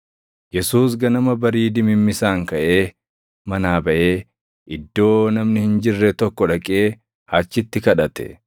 Yesuus ganama barii dimimmisaan kaʼee manaa baʼee iddoo namni hin jirre tokko dhaqee achitti kadhate.